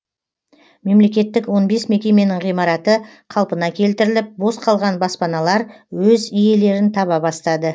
мемлекеттік он бес мекеменің ғимараты қалпына келтіріліп бос қалған баспаналар өз иелерін таба бастады